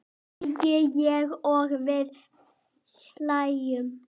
segi ég og við hlæjum.